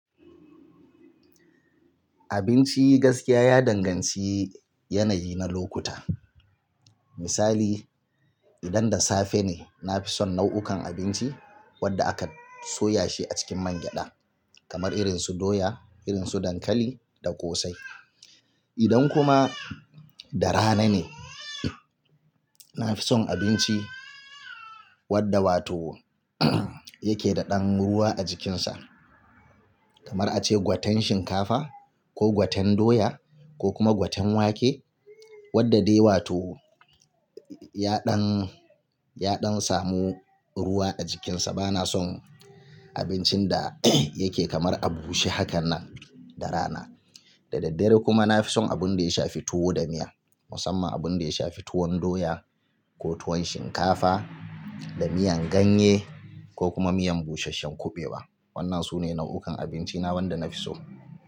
Abinci gaskiya ya danganci yanayi na lokuta. Misali, idan da safe ne, na fi son nau'ukan abinci wadda aka soya shi a cikin man gyaɗa, kamar irin su doya, irin su dankali da ƙosai. Idan kuma da rana ne, na fi son abinci wadda wato yake da ɗan ruwa a jikinsa, kamar ace gwaten shinkafa ko gwaten doya ko kuma gwaten wake wadda dai wato ya ɗan, ya ɗan samu ruwa a jikinsa. Ba na son abincin da yake kamar a bushe hakannan da rana. Da daddare kuma na fi son abun da ya shafi tuwo da miya, musamman abun da ya shafi tuwon doya ko tuwon shinkafa da miyan ganye ko kuma miyan busasshen kuɓewa. Wannan su ne nau'ukan abinci na wanda na fi so.